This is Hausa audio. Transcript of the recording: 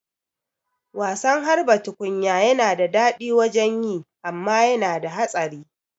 Wasan harba tukunya yana da daɗi wajen yi amma yana da hatsari